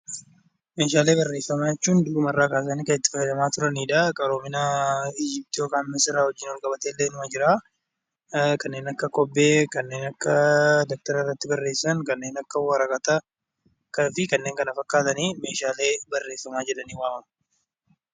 Meeshaalee barreeffamaa jechuun durirraa kaasanii kan itti fayyadamaa turanidha. Qaroomina Misir waliin wal qabateellee inuma Jira kanneen akka kobbee, dabtara irratti barreessan, kanneen akka waraqataa fi kanneen kana fakkaatan meeshaalee barreeffamaa jedhamanii waamamu.